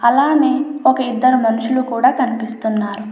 అలానే ఒక ఇద్దరు మనుషులు కూడా కనిపిస్తున్నారు.